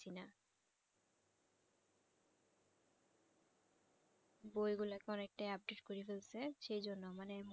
বই গুলাকে অনেকটাই update করে ফেলছে সেজন্য মানে